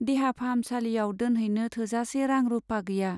देहा फाहामसालियाव दोनहैनो थोजासे रां-रुपा गैया।